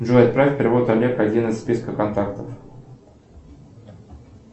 джой отправь перевод олег один из списка контактов